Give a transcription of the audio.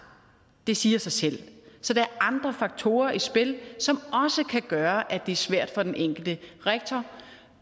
det siger sig selv så der er andre faktorer i spil som også kan gøre at det er svært for den enkelte rektor